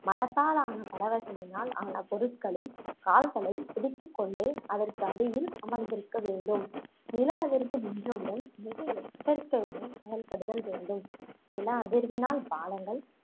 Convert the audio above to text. மரத்தாலான பலவகைகளினால் ஆன பொருட்களில் கால்களை பிடித்து கொண்டு அதற்கு அடியில் ஆமர்ந்திருக்க வேண்டும் நில அதிர்வு நின்றவுடன் மிக எச்சரிக்கையுடன் செயல்படுதல் வேண்டும் நில அதிர்வினால் பாலங்கள்